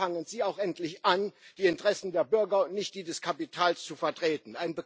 Also fangen Sie auch endlich an, die Interessen der Bürger und nicht die des Kapitals zu vertreten.